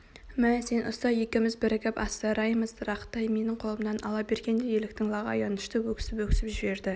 мә сен ұста екеуіміз бірігіп асыраймыз рақтай менің қолымнан ала бергенде еліктің лағы аянышты өксіп-өксіп жіберді